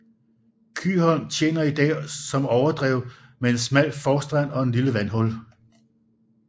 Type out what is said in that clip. Kyholm tjener i dag som overdrev med en smal forstrand og et lille vandhul